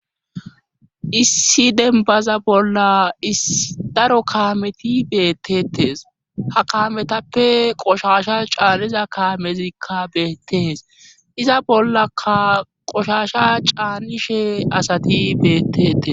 Issi dembaza bolla isdaro kaameti beettetees ha kaametappe qoshasha caaniza kaamezikka beettees iza bollaka qoshasha caannishe asati beettetes